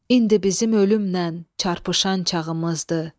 İndi bizim ölümlə çarpışan çağımızdır.